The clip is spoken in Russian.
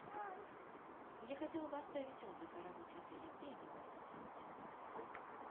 я хотела бы оставить отзыв о работе отеля где я могу это сделать